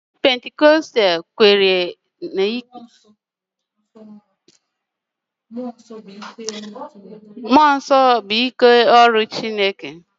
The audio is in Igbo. Chọọchị Pentikọstal kweere na mmụọ nsọ bụ ike ọrụ Chineke